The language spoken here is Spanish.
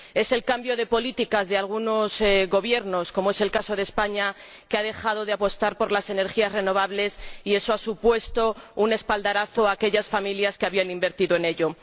Es el cambio de políticas de algunos Gobiernos, como es el caso de España, que ha dejado de apostar por las energías renovables y eso ha supuesto un golpe para aquellas familias que habían invertido en ello.